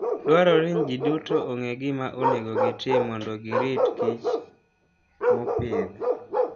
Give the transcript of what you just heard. Dwarore ni ji duto ong'e gima onego gitim mondo giritkich mopidh.